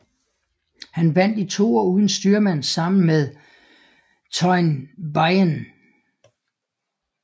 Han vandt i toer uden styrmand sammen med Teun Beijnen